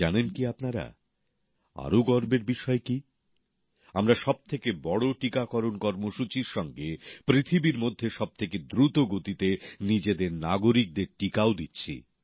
জানেন কি আপনারা আরও গর্বের বিষয় কী আমরা সবথেকে বড় টিকাকরণ কর্মসূচীর সঙ্গে পৃথিবীর মধ্যে সবথেকে দ্রুত গতিতে নিজেদের নাগরিকদের টিকাও দিচ্ছি